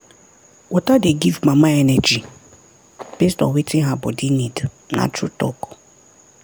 water dey give mama energy based on wetin her body need na true talk.